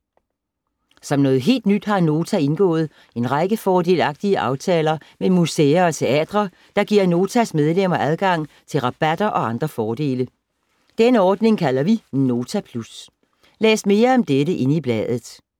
Som noget helt nyt har Nota indgået en række fordelagtige aftaler med museer og teatre, der giver Notas medlemmer adgang til rabatter og andre fordele. Denne ordning kalder vi Nota Plus. Læs mere om dette inde i bladet.